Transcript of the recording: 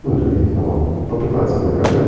ну других наук попытаться доказать